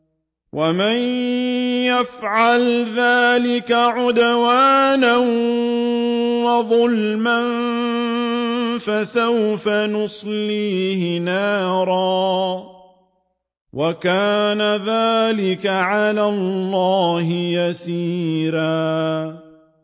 وَمَن يَفْعَلْ ذَٰلِكَ عُدْوَانًا وَظُلْمًا فَسَوْفَ نُصْلِيهِ نَارًا ۚ وَكَانَ ذَٰلِكَ عَلَى اللَّهِ يَسِيرًا